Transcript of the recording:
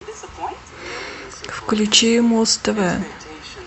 включи муз тв